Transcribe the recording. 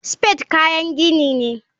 Spade kayan gini ne.